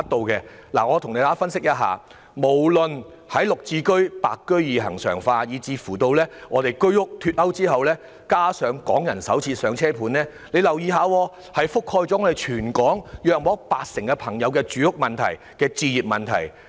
按照我的分析，由"綠置居"或"白居二"恆常化，居屋脫勾以至"港人首置上車盤"，已涉及全港約八成市民的住屋和置業問題。